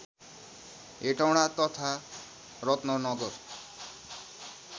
हेटौडा तथा रत्ननगर